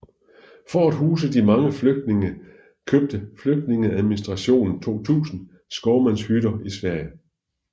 For at huse de mange flygtninge købte flygtningeadministrationen 2000 skovmandshytter i Sverige